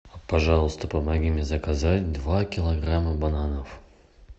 пожалуйста помоги мне заказать два килограмма бананов